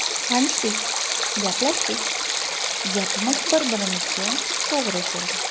Tanishdik, gaplashdik, gapimiz bir-birimizga to‘g‘ri keldi.